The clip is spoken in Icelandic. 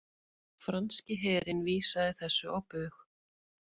Franski herinn vísaði þessu á bug